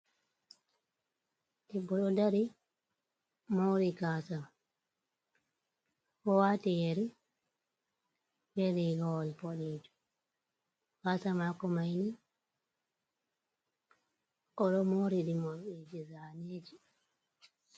Ɗeɗɗo ɗo ɗari, mouri gasa. Oɗo wati yeri, beli rigawol ɓoɗejum. Gasa mako maini, oɗo moori ɗi moriɗiji zaneji.